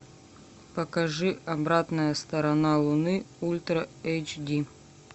покажи обратная сторона луны ультра эйч ди